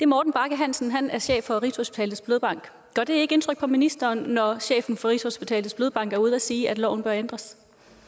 morten bagge hansen han er chef for rigshospitalets blodbank gør det ikke indtryk på ministeren når chefen for rigshospitalets blodbank er ude at sige at loven bør ændres